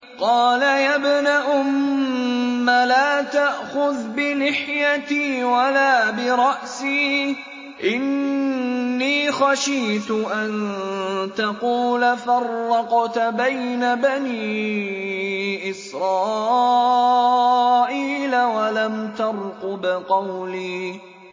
قَالَ يَا ابْنَ أُمَّ لَا تَأْخُذْ بِلِحْيَتِي وَلَا بِرَأْسِي ۖ إِنِّي خَشِيتُ أَن تَقُولَ فَرَّقْتَ بَيْنَ بَنِي إِسْرَائِيلَ وَلَمْ تَرْقُبْ قَوْلِي